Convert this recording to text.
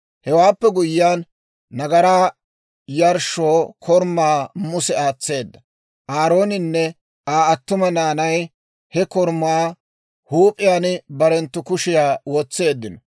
Hewaappe guyyiyaan, nagaraa yarshshoo korumaa Muse aatseedda; Aarooninne Aa attuma naanay he korumaa huup'iyaan barenttu kushiyaa wotseeddino.